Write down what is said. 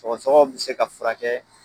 Sɔgɔsɔgɔ bi se ka furakɛ